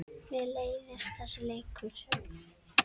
Mér leiðist þessi leikur.